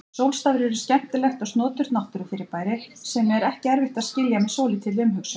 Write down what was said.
Sólstafir eru skemmtilegt og snoturt náttúrufyrirbæri sem er ekki erfitt að skilja með svolítilli umhugsun.